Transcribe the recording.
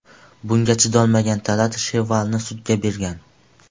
Bunga chidolmagan Talat Shevvalni sudga bergan.